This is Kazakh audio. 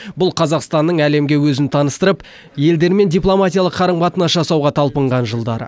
бұл қазақстанның әлемге өзін таныстырып елдермен дипломатиялық қарым қатынас жасауға талпынған жылдары